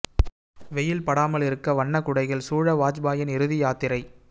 வெயில் படாமல் இருக்க வண்ண குடைகள் சூழ வாஜ்பாயின் இறுதி யாத்திரை